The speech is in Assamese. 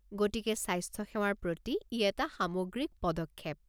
গতিকে স্বাস্থ্যসেৱাৰ প্ৰতি ই এটা সামগ্ৰিক পদক্ষেপ